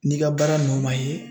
N'i ka baara nɔ man ye